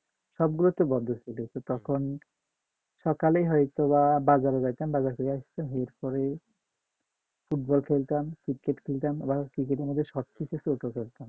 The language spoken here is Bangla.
সবগুলোতে তখন সকালে হয়তো বা বাজারে যাইতাম বাজার করে আসতাম ফুটবল খেলতাম ক্রিকেট খেলতাম